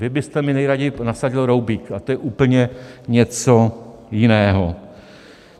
Vy byste mi nejraději nasadil roubík a to je úplně něco jiného.